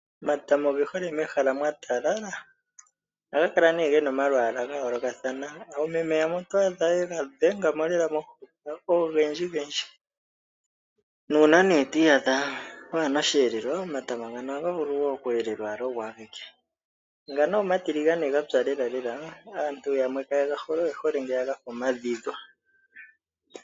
Omatama oge hole mehele mwa talala ohaga kala gena omalwala ga yoolokathana. Oomeme yamwe oto adha yega dhengamo lela momuhoka ogendji gendji nuna twi iyada wana oshiyelelwa omatama ngano ohaga vulu oku elelwa ogo geke. Ngano omatiligane gapya lela lela aantu yamwe kayega hole oyehole ngeya gadhi dhwa.